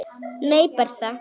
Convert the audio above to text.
Nei, Bertha.